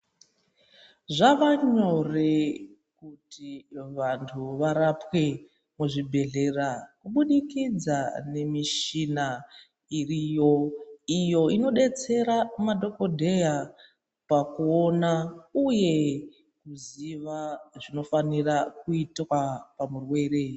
Zvavanyore kuti vantu varapwe muzvibhedhlera kubudikidza nemichina iriyo. Iyo inobetsera madhogodheya pakuona, uye kuziva zvinofanira kuitwa pamurwere.